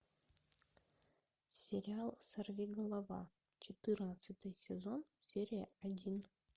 сериал сорвиголова четырнадцатый сезон серия один